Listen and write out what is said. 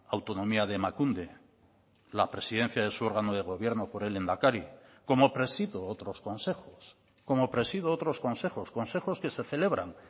autonomía de emakunde la presidencia de su órgano de gobierno por el lehendakari como presido otros consejos como presido otros consejos consejos que se celebran